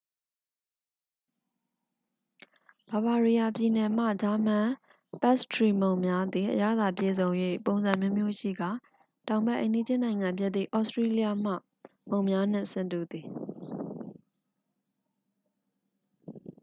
bavariaပြည်နယ်မှ ဂျာမန် ပတ်စ်ထရီမုန့်များသည် အရသာပြည့်စုံ၍ ပုံစံအမျိုးမျိုးရှိကာ တောင်ဘက် အိမ်နီးချင်းနိုင်ငံဖြစ်သည့် ဩစတီးရီးယားမှ မုန့်များနှင့် ဆင်တူသည်။